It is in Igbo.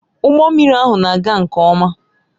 Ụgbọ mmiri ahụ na-aga nke ọma